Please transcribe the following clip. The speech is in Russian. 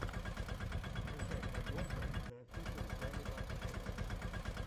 скачай подборка зе офишэл гаммибар ченнел